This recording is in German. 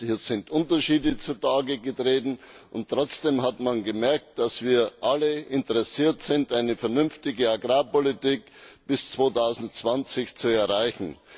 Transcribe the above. Es sind Unterschiede zutage getreten, und trotzdem hat man gemerkt, dass wir alle interessiert sind, eine vernünftige Agrarpolitik bis 2020 zu erreichen.